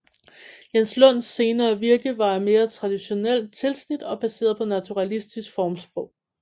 Jens Lund senere virke var af mere traditionelt tilsnit og baseret på naturalistisk formsprog